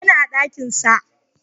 yana dakin sa